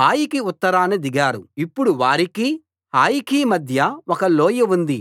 హాయికి ఉత్తరాన దిగారు ఇప్పుడు వారికి హాయికి మధ్య ఒక లోయ ఉంది